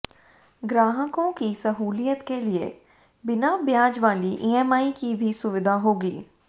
ग्राहकों की सहूलियत के लिए बिना ब्याज वाली ईएमआई की भी सुविधा होगी